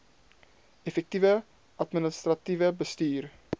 effektiewe administratiewe bestuur